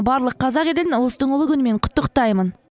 барлық қазақ елін ұлыстың ұлы күнімен құттықтаймын